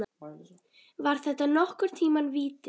Var þetta nokkurn tíma víti?